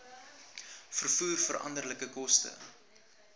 vervoer veranderlike koste